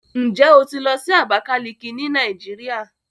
Ǹjẹ́ o ti lọ sí Abákálíkí ní Nàìjíríà?